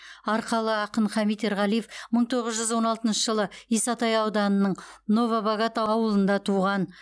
арқалы ақын хамит ерғалиев мың тоғыз жүз он алтыншы жылы исатай ауданының новобогат ауылында туған